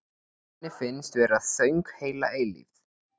Henni finnst vera þögn heila eilífð.